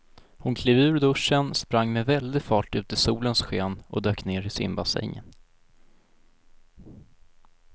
Hon klev ur duschen, sprang med väldig fart ut i solens sken och dök ner i simbassängen.